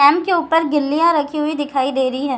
के ऊपर गिल्लीयाँ रखी हुई दिखाई दे रही हैं ।